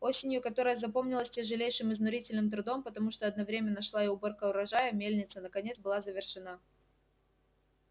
осенью которая запомнилась тяжелейшим изнурительным трудом потому что одновременно шла и уборка урожая мельница наконец была завершена